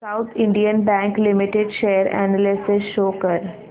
south Indian Bank Limited share analysis show कर